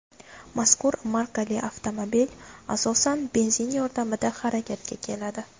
Mazkur markali avtomobil, asosan, benzin yordamida harakatga keladi.